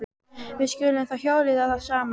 Við skulum þá hjóla í þá saman.